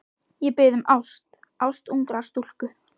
Ég bið um ást, ást ungrar stúlku.